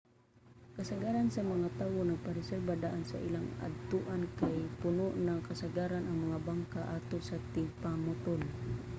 kasagaran sa mga tawo magpa-reserba daan sa ilang adtuan kay puno na kasagaran ang mga bangka atol sa tingpamutol